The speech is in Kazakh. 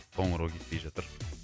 қоңырау кетпей жатыр